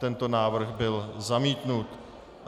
Tento návrh byl zamítnut.